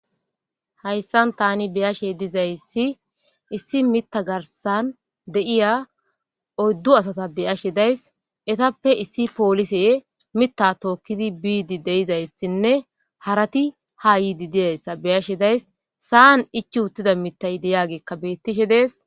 Hayisani tan beashe dizayisa issi miththa garisan deiya oyiddu asata beashe dayiss eyitappe issi polisey miththa tokkid bidi deizayisanne harat ha yidi dizayisa beashe dayis saaan ichchi uttidi miththageyikka betishe deesi